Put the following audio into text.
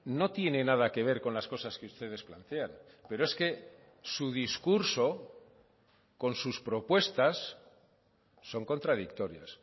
no tiene nada que ver con las cosas que ustedes plantean pero es que su discurso con sus propuestas son contradictorias